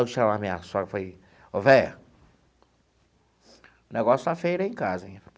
Eu chamei a minha sogra e falei, o velha, o negócio está feio lá em casa hein.